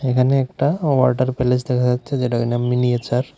এখানে একটা water palace দেখা যাচ্ছে যেটা কিনা মিনিয়েচার ।